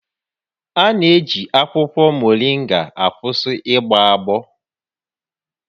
A na-eji akwụkwọ mọrịnga akwụsị ịgbọ agbọ